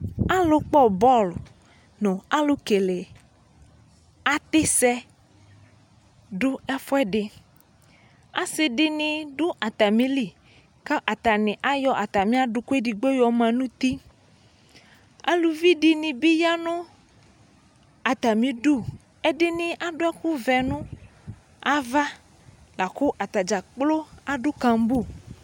Alu kpɔ bɔl , nu awu kele atisɛ dʋ ɛfuɛdiAsidini dʋ atamiliKʋ atani ayɔ atamiadʋkʋ edigbo manutiAluvi dini bi yanʋ atamiduƐdini adʋ ɛkuvɛ nʋ avaLakʋ atadzakplo adʋ kambu